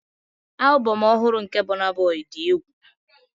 Album ọhụrụ nke Burna Boy dị egwu.